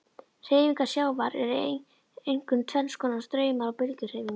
Hreyfingar sjávar eru einkum tvenns konar, straumar og bylgjuhreyfing.